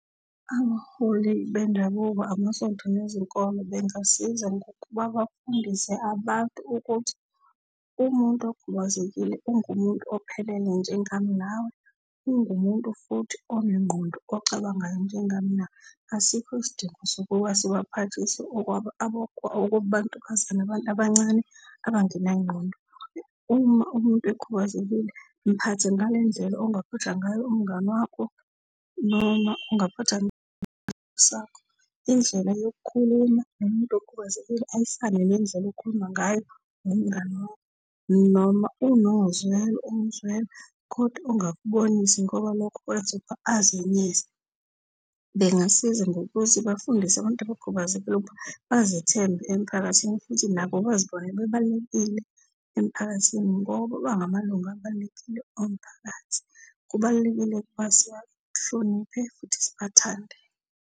Abaholi bendabuko, amasonto nezinkole bengasiza ngokuba bafundise abantu ukuthi umuntu okhubazekile ungumuntu ophelele njengami nawe, ungumuntu futhi onengqondo ocabangayo njengami nawe. Asikho isidingo sukuba sibaphathise okwabantukazana abantu abancane abangenangqondo. Uma umuntu ekhubazekile mphathe ngale ndlela ongaphatha ngayo umngane wakho noma ongaphatha sakho. Indlela yokukhuluma nomuntu okhubazekile ayifane nendlela okhuluma ngayo nomngani wami, noma unozwelo umzwela kodwa ungakubonisi ngoba lokho kwenza ukuba azenyeze. Bengasiza ngokuthi bafundise abantu abakhubazekile ukuba bazethembe emiphakathini, futhi nabo bazibone bebalulekile emiphakathini ngoba bangamalunga abalulekile omphakathi. Kubalulekile ukuba sibahloniphe futhi sibathande.